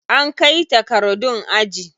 An kai takardun aji.